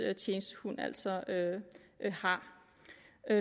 tjenestehund altså har